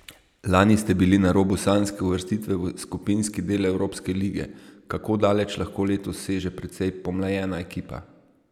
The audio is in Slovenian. Lani ste bili na robu sanjske uvrstitve v skupinski del evropske lige, kako daleč lahko letos seže precej pomlajena ekipa?